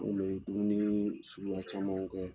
An kun bɛ dumuni suguya camanw kɛ.